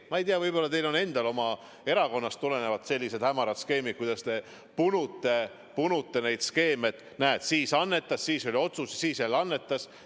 Ma ei tea, võib-olla teil on oma erakonnas sellised hämarad skeemid, võib-olla te punute neid skeeme, et näed, keegi annetas, siis tuli otsus ja siis jälle annetas.